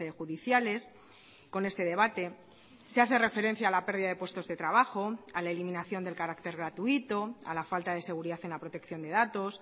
judiciales con este debate se hace referencia a la pérdida de puestos de trabajo a la eliminación del carácter gratuito a la falta de seguridad en la protección de datos